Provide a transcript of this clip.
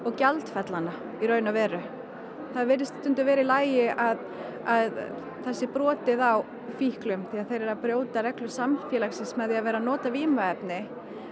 gjaldfella hana í raun og veru það virðist stundum vera í lagi að það sé brotið á fíklum því að þeir eru að brjóta reglur samfélagsins með því að vera að nota vímuefni